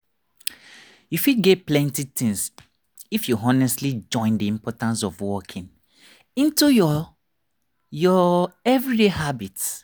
you fit gain plenty things if you honestly join the importance of walking into your your everyday habits.